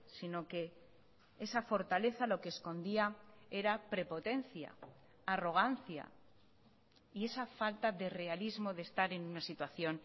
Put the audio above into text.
sino que esa fortaleza lo que escondía era prepotencia arrogancia y esa falta de realismo de estar en una situación